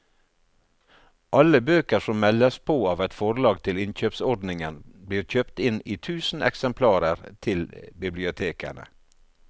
Alle bøker som meldes på av et forlag til innkjøpsordningen blir kjøpt inn i tusen eksemplarer til bibliotekene.